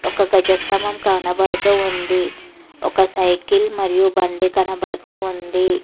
ఒక గజ స్థంభం కనబడుతుంది ఒక సైకిల్ మరియు బండి కనపడుతూ ఉంది.